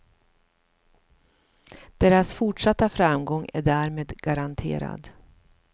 Deras fortsatta framgång är därmed garanterad.